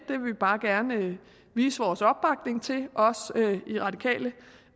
vil vi bare gerne vise vores opbakning til i radikale